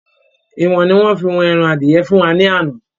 Ìwọ̀n ni wọ́n fí wọn ẹran adìẹ fún wa ni àná.